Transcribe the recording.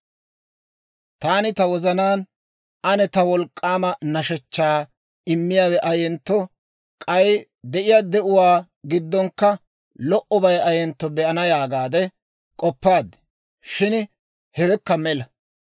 Taani ta wozanaan, «Ane taw wolk'k'aama nashshechchaa immiyaawe ayentto, k'ay de'iyaa de'uwaa giddonkka lo"obay ayentto be'ana» yaagaade k'oppaad; shin hewekka mela.